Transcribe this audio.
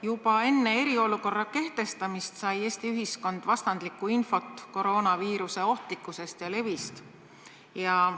Juba enne eriolukorra kehtestamist sai Eesti ühiskond vastandlikku infot koroonaviiruse ohtlikkuse ja leviku kohta.